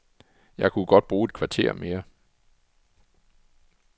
Jeg kunne godt bruge et kvarter mere.